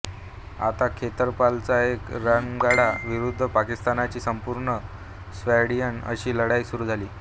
आता खेतरपालचा एक रणगाडा विरुद्ध पाकिस्तानची संपूर्ण स्क्वॉड्रन अशी लढाई सुरू झाली